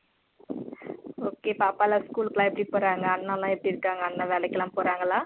Okay பாப்பால school க்குல எப்பிடி போறாங்க அண்ணால எப்பிடி இருக்காங்க அண்ணா வேலைக்குலா போறங்களா